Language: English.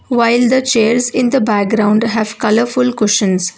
while the chairs in the background have colourful cushions.